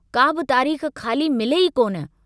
काबि तारीख खाली मिले ई कोन।